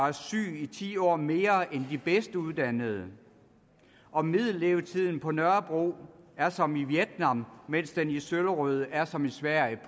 er syg i ti år mere end de bedst uddannede og middellevetiden på nørrebro er som i vietnam mens den i søllerød er som i sverige